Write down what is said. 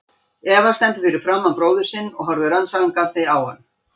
Eva stendur fyrir framan bróður sinn og horfir rannsakandi á hann.